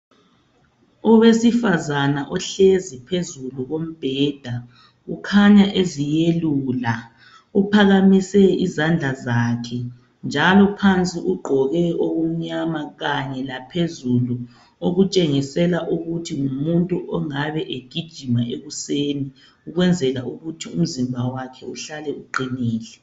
Owesifazana ohlezi phezulu kombhenda kukhanya eziyelula uphakamise izandla zakhe njalo phansi ugqoke okumnyama kanye laphezulu ,okutshengisela ukuthi ngumuntu ongabe egijima ekuseni ukwenzela ukuthi umzimba wakhe uhlale uqinile.